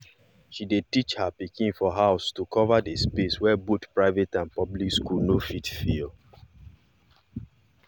she dey teach her pikin for house to cover the space wey both private and public school no fit fill